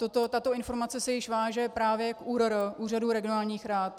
Tato informace se již váže právě k ÚRR, Úřadu regionálních rad.